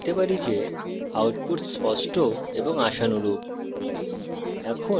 এখন আমরা দেখতে পারি যে output স্পষ্ট এবং আশানুরূপ